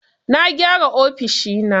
Na gyara ofishi na.